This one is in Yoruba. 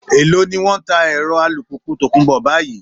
Èló ni wọ́n ń ta ẹ̀rọ alùpùpù tòkunbọ̀ báyìí?